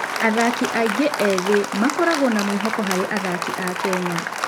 Athaki aingĩ ethĩ makoragwo na mwĩhoko harĩ athaki a Kenya.